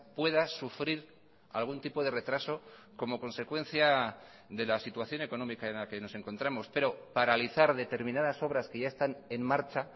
pueda sufrir algún tipo de retraso como consecuencia de la situación económica en la que nos encontramos pero paralizar determinadas obras que ya están en marcha